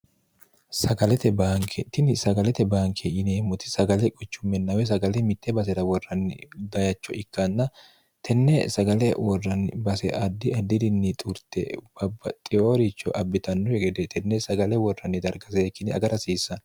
sagalete baanke tini sagalete baanke yineemmoti sagale quchummenna woy sagale mitte basera worranni bayicho ikkanna tenne sagale worranni base addi addirinni xurte babbaxiyooricho abbitannokki gede tenne sagale worranni darga seekkine agara hasiissanno